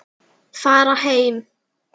Fara heim!